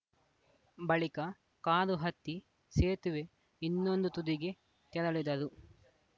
ಬಳಿಕ ಕಾರು ಹತ್ತಿ ಸೇತುವೆ ಇನ್ನೊಂದು ತುದಿಗೆ ತೆರಳಿದರು